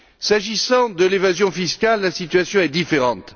S'agissant de l'évasion fiscale, la situation est différente.